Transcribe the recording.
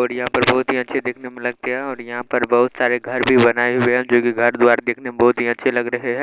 और यहां पर भौत ही अच्छे देखने में लगते हैं और यहां पर बोहोत सारे घर भी बनाए हुए हैं जो भी घर द्वार देखने में बहोत ही अच्छे लग रहे हैं।